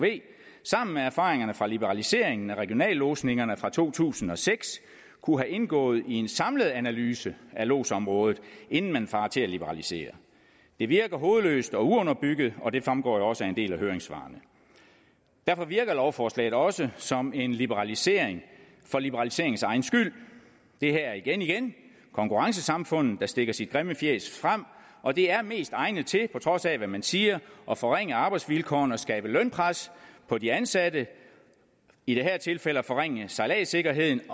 sammen med erfaringerne fra liberaliseringen af regionallodsningerne fra to tusind og seks kunne have indgået i en samlet analyse af lodsområdet inden man farer til at liberalisere det virker hovedløst og uunderbygget og det fremgår jo også af en del af høringssvarene derfor virker lovforslaget også som en liberalisering for liberaliseringens egen skyld det her er igen igen konkurrencesamfundet der stikker sit grimme fjæs frem og det er mest egnet til på trods af hvad man siger at forringe arbejdsvilkårene og skabe lønpres på de ansatte i det her tilfælde at forringe sejladssikkerheden